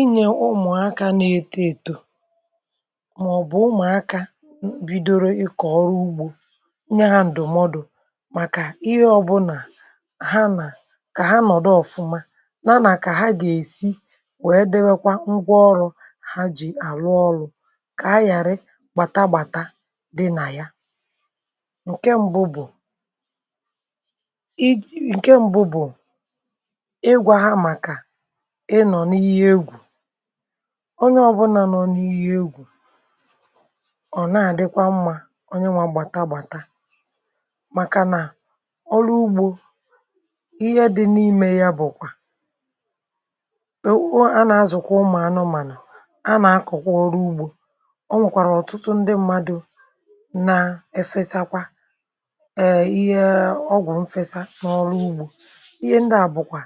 Ịnye ụmụ̀akȧ na-eto èto, màọ̀bụ̀ ụmụ̀akȧ bidoro ịkọ̀ ọrụ ugbȯ, onye ha ǹdụ̀mọdụ̀ màkà ihe ọbụlà ha nà um kà ha nọ̀dụ ọ̀fụma, nàna kà ha gà-èsi wèe dịwekwa ngwaọrụ ha jì àrụọ ọlụ̇, kà ha ghàrị gbàtagbàta dị nà ya. Ǹkè mbụ bụ̀ ịgwà ha màkà onye ọbụna nọ n’ihì egwù. Ọ̀ na-adịkwa mmȧ, onye nwà gbàtà gbàtà, màkà nà ọrụ ugbȯ, ihe dị n’ime ya bụ̀kwà ò a nà-azụ̀kwa ụmụ̀ anụmànụ̀, a nà-akọ̀kwa ọrụ ugbȯ. Ọ nwèkwàrà ọ̀tụtụ ndị mmadụ̇ nà-efesakwa, ee, ihe ọgwụ̀ mfesa n’ọrụ ugbȯ.(um) Ihe ndị à bụ̀kwà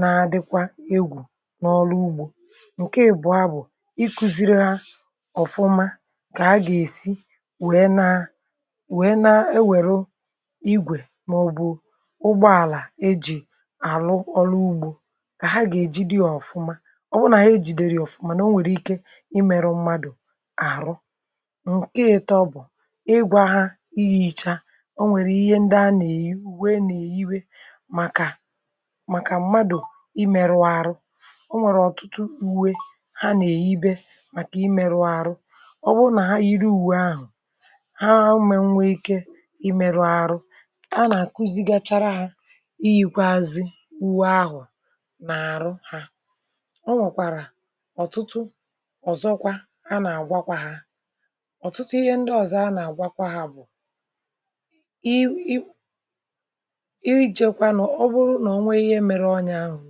nà adịkwa egwù n’ọlụ ugbȯ. Ǹkè èbụ̀ọ bụ̀ ikuziri ha ọ̀fụma, kà a gà-èsi wèe na, wèe na-ewere igwè n’ọbụ̀ ụgbọàlà e jì àrụ ọlụ ugbȯ, kà ha gà-ejidị ọ̀fụma. Ọ bụ nà e jìdèrè ya ọ̀fụma, nà o nwèrè ike imėrù mmadụ̀ àrụ.. Ǹkè ịtọ bụ̀ ịgwà ha ihe um icha o nwèrè ihe ndị a nà-èyi wee nà-èyiwe màkà m̀madù imėrù arụ. O nwèrè ọ̀tụtụ uwe ha nà-èyibe, màkà imėrù arụ; ọ bụ nà iri owu ahụ̀ ha mé nwe ike imėrù arụ. A nà-àkuzighachara ha iyikweazị, ùwù ahụ̀ nà àrụ ha. Ọ nwèkwàrà ọ̀tụtụ ọ̀zọkwa. um A nà-àgwakwa ha ọ̀tụtụ ihe ndị ọ̀zọ; a nà-àgwakwa ha bụ̀ ọ bụrụ nà onwe ihe mere, ọnyȧ ahụ̀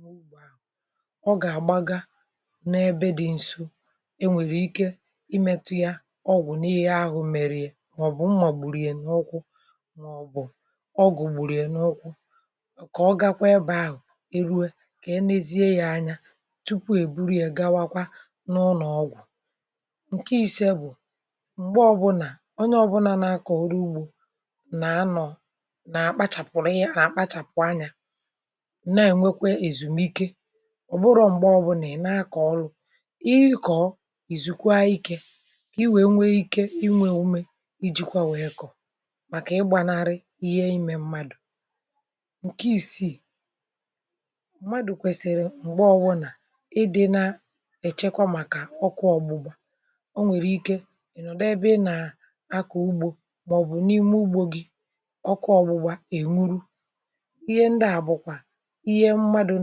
n’ime ugbò ahụ̀, ọ gà-àgbaga n’ebe dị nso. E nwèrè ike imėtȯ yȧ ọgwụ̀ n’ihe ahụ̀ mèrè, ihe mà ọ̀ bụ̀ mmọ̀gbùrù yà n’ụkwụ, màọ̀bụ̀ ọgwụ̀ gbùrù yà n’ụkwụ; kà ọ gakwa ebe ahụ̀ erue, kà e nėzie yȧ anya tupu e buru yȧ, gawakwa n’ụlọ̀ ọgwụ̀. Ǹkè isi̇ e bụ̀ m̀gbè ọbụ̀nà onye ọbụnȧ nà aka orìugbȯ nà-anọ̇, ǹne, è nwekwe èzùmike. Ọ̀ bụrọ̇ m̀gbè ọbụ̇ nà ị̀ nà-akọ̀ ọrụ; ihe ịkọ̀, ìzùkwà ikė, kà i wèe nwee ike inwė ume iji̇kwà, wèe kọ̀, màkà ịgbànari ihe imė mmadụ̀. Ǹkè isiì.. mmadụ̇ kwèsìrì m̀gbè ọbụ, nà ịdị̇ na-èchekwa, màkà ọkụ ọ̀gbụ̀gbà. O nwèrè ike ị̀ nọ̀dụ ebe ị nà-akọ̀ ugbȯ, màọ̀bụ̀ n’ime ugbȯ gị, ọkụ ọ̀gbụ̀gbà ènwuru. Ihe ndị à bụ̀kwà ihe mmadụ̇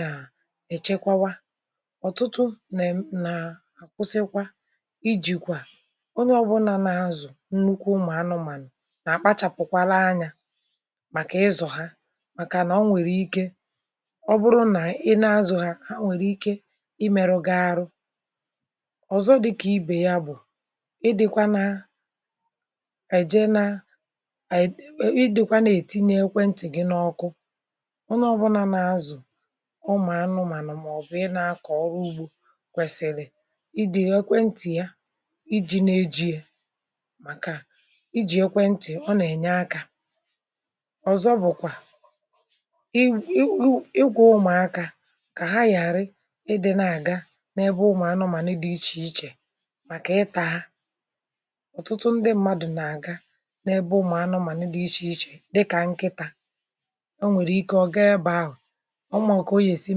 nà-echekwawa. Ọ̀tụtụ nà-kwụsịkwa ijìkwa, onye ọ̀bụlà na-azụ̀ nnukwu ụmụ̀ anụmànụ̀, nà-àkpachàpụkwara anya màkà ịzụ̀ ha, màkànà ọ nwèrè ike ọ bụrụ nà ị na-azụ̀ ha, a nwèrè ike imerụ gị arụ. um Ọ̀zọ dịkà ibè ya bụ̀ ị dịkwa nà-èje, nà-ètinye ekwentị̀ gị n’ọkụ. Ụmụ̀anụ̇ mànọ̀, màọ̀bụ̀ ị nà-akọ̀ ọrụ ugbȯ, kwèsìlì ịdị̇ ekwentì ya iji̇, nà-eji̇ è, màkà ijì ekwentì. Ọ nà-ènye akȧ ọ̀zọ, bụ̀kwà i wù̇ ịgwụ̇ ụmụ̀akȧ, kà ha yàrị, ịdị̇ na-àga n’ebe ụmụ̀anụ̇ mànọ̀, nà ịdị̇ ichè ichè màkà ịtȧ ha. Ọ̀tụtụ ndị mmadụ̀ nà-àga n’ebe ụmụ̀anụ̇ mànọ̀, nà-adị̇ ichè ichè, dịkà nkịtȧ. Ọ màkà o gà-èsi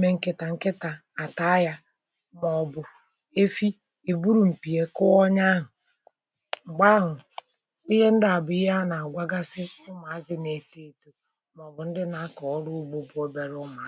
mee nkịtà, nkịtà àtà ahịȧ, mà ọ̀ bụ̀ efi èburu̇ m̀pìe kụọ onye ahụ̀. um M̀gbè ahụ̀, ihe ndị à bụ̀ ihe a nà-àgwagasi ụmụ̀ azụ̀ nà-ète èto, mà ọ̀ bụ̀ ndị nà-akà ọrụ ugbȯ bụ̀ obiàrà